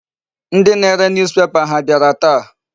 Ndị na-are newspaper ha abịara taa?